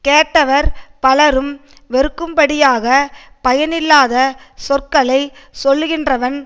கேட்டவர் பலரும் வெறுக்கும் படியாகப் பயனில்லாத சொற்களை சொல்லுகின்றவன்